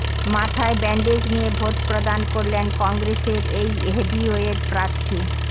মাথায় ব্যান্ডেজ নিয়ে ভোট প্রদান করলেন কংগ্রেসের এই হেভিওয়েট প্রার্থী